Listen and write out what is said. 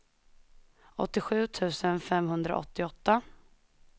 åttiosju tusen femhundraåttioåtta